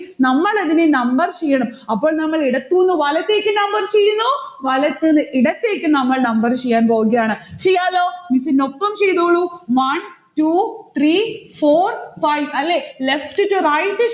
നമ്മളതിനെ number ചെയ്യണം. അപ്പോൾ നമ്മൾ ഇടത്തൂന്ന് വലത്തേക്ക് number ചെയ്യുന്നു, വലത്തിന്ന് ഇടത്തേക്ക് നമ്മൾ number ചെയ്യാൻ പോവുകയാണ്. ചെയ്യാലോ? miss നൊപ്പം ചെയ്തോളു. one two three four five അല്ലെ? left to right